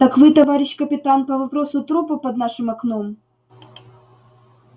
так вы товарищ капитан по вопросу трупа под нашим окном